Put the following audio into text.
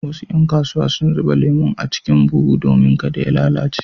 Wasu ƴan kasuwa sun zuba lemon a cikin buhu domin kada ya lalace.